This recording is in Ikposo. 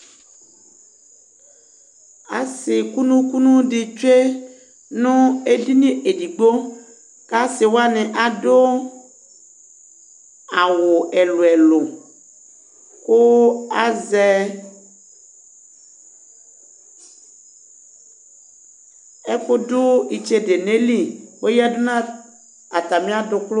Asi kunu kunu di tsue nu edini edigbo kasiwani adu awu ɛlu ɛlu ku azɛ ɛku du itsede nu ayili yadu nu atami adukulu